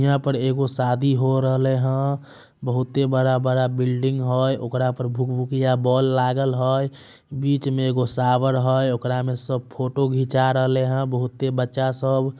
यहां पे एगो शादी हो रहेले हय। बहुते बड़ा-बड़ा बिल्डिंग हय। ओकरा पर भुक-भूकिया बोल लागल होय। बीच मे एगो शावर होय ओकरा मे सब फोटो घींचा रहले हय बहुते बच्चा सब ।